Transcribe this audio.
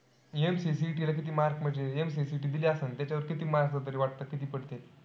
MCACET ला किती mark म्हणजे MCACET दिली असन. त्याच्यावर किती mark तरी वाटतं किती पडतील?